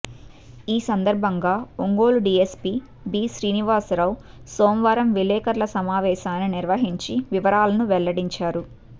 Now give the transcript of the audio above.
ఈ సందర్భంగా Ongole DSP B Srinivasarao సోమవారం విలేఖర్ల సమావేశాన్ని నిర్వహించి వివరాలను వెల్లడించారు